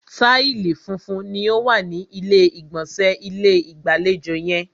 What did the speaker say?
Taìsì funfun ni o wa ni ilé ìgbọ̀nsẹ̀ ilé-ìgbàlejò yẹn.